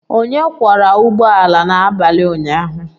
Onye kwọra ụgbọ ala n'abalị ụnyaahụ?